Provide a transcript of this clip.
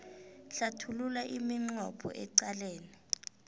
hlathulula iminqopho eqalene